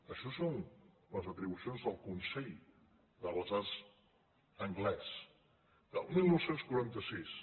això són les atribucions del consell de les arts anglès del dinou quaranta sis